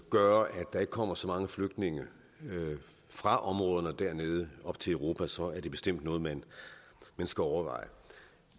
gøre at der ikke kommer så mange flygtninge fra områderne dernede op til europa så er det bestemt noget man skal overveje